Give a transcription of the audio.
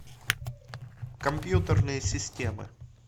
компьютерные системы